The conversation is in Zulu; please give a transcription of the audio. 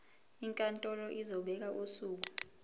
inkantolo izobeka usuku